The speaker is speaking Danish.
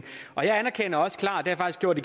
af